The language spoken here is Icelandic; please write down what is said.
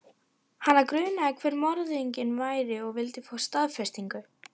Hana grunaði hver morðinginn væri og vildi fá staðfestingu.